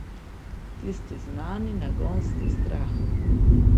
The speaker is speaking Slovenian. Tisti znani, nagonski strah.